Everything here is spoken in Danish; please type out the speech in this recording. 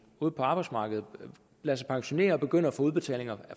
ude på arbejdsmarkedet og lader sig pensionere og begynder at få udbetalt